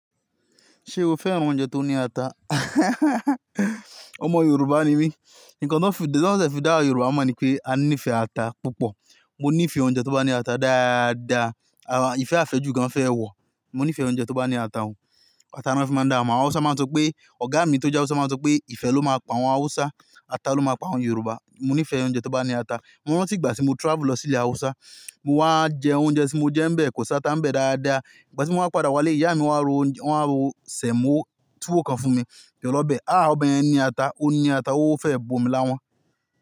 Ṣé o fẹ́ran oúnjẹ tó ní ata? Ọmọ Yorùbá ni mí, nǹkan tó fi-- tí wọ́n fẹ́ dá Yorùbá mọ̀ ni pé a níìfẹ́ ata púpọ̀. Mo níìfẹ́ oúnjẹ tó bá ní ata dáadáa, àwọn-- ìfẹ́ àfẹ́ jù gan fẹ́ ẹ wọ̀. Mo níìfẹ́ oúnjẹ tó bá ní ata o. Ata ni wọ́n fi máa ń dá wa mọ̀. Hausa máa ń sọ pé-- ọ̀gá mi tó jẹ́ Hausa máa ń sọ pé ìfẹ́ ló máa pa àwọn Hausa, ata ló máa pa àwọn Yorùbá. Mo níìfẹ́ oúnjẹ tó bá ní ata. Mo rántí ìgbà tí mo travel lọ sí ilẹ̀ Hausa, mo wá jẹ oúnjẹ tí mo jẹ́ ń bẹ kò sá tá ń bẹ dáadáa. Ìgbà tí mo wá padà wálé ìyá mi wá ro, wá ro sèmó túwó kan fún mi, ti olo be. "Àá! Ọbe yẹn ní ata, ó ní ata, ó fẹ́ bomi láwọn."